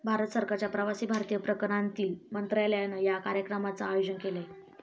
भारत सरकारच्या प्रवासी भारतीय प्रकरणांतील मंत्रालयानं या कार्यक्रमाचं आयोजन केलंय.